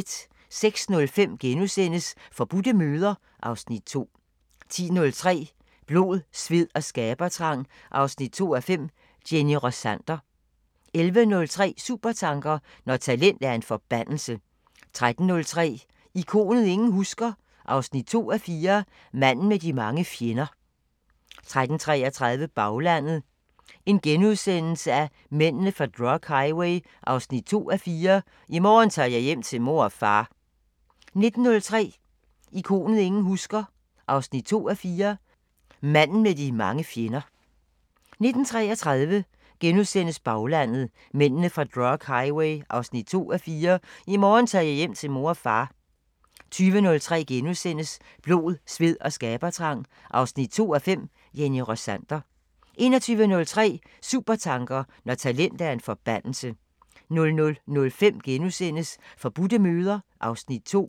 06:05: Forbudte møder (Afs. 2)* 10:03: Blod, sved og skabertrang 2:5 – Jenny Rossander 11:03: Supertanker: Når talent er en forbandelse 13:03: Ikonet ingen husker – 2:4 Manden med de mange fjender 13:33: Baglandet: Mændene fra drug highway 2:4 – "I morgen tager jeg hjem til mor og far" 19:03: Ikonet ingen husker – 2:4 Manden med de mange fjender 19:33: Baglandet: Mændene fra drug highway 2:4 – "I morgen tager jeg hjem til mor og far" * 20:03: Blod, sved og skabertrang 2:5 – Jenny Rossander * 21:03: Supertanker: Når talent er en forbandelse 00:05: Forbudte møder (Afs. 2)*